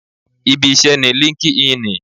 Ibi iṣẹ́ ni líńki-inì